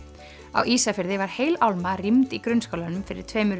á Ísafirði var heil álma rýmd í grunnskólanum fyrir tveimur